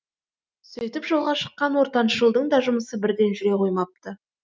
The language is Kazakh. сөйтіп жолға шыққан ортаншы ұлдың да жұмысы бірден жүре қоймапты